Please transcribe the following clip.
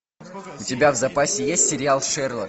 у тебя в запасе есть сериал шерлок